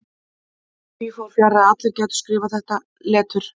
Því fór þó fjarri að allir gætu skrifað þetta letur.